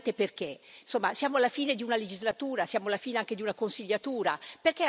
Insomma, siamo alla fine di una legislatura, siamo alla fine anche di una consigliatura, perché arrenderci così?